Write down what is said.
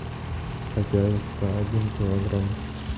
хозяюшка один килограмм